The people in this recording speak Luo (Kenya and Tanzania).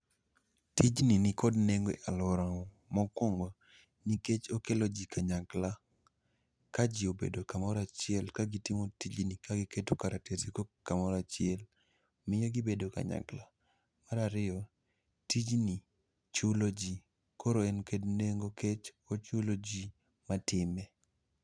tijni nikod nengo e alworawa, mokwongo nikech okelo ji kanyakla. Ka ji obedo kamorachiel ka gitimo tijni ka giketo karatesego kamorachiel miyo gibedo kanyakla. Marariyo, tijni chulo ji koro en kod nengo kech ochulo ji matime.